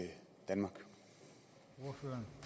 at få